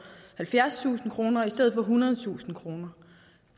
halvfjerdstusind kroner i stedet for ethundredetusind kroner